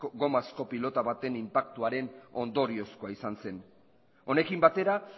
gomazko pilota baten inpaktuaren ondoriozkoa izan zen honekin batera